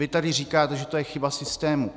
Vy tady říkáte, že to je chyba systému.